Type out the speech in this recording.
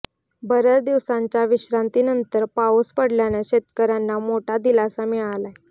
बऱ्याच दिवसांच्या विश्रांतीनंतर पाऊस पडल्यानं शेतकऱ्यांना मोठा दिलासा मिळालाय